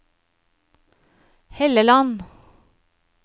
Helleland